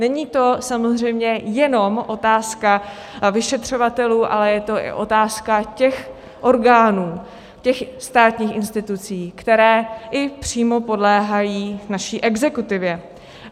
Není to samozřejmě jenom otázka vyšetřovatelů, ale je to i otázka těch orgánů, těch státních institucí, které i přímo podléhají naší exekutivě.